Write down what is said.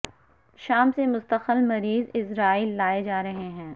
شام سے مستقل مریض اسرائیل لائے جا رہے ہیں